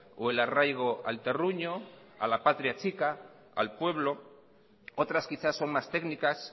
o el arraigo al terruño a la patria chica al pueblo otras quizás son más técnicas